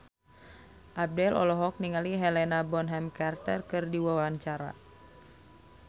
Abdel olohok ningali Helena Bonham Carter keur diwawancara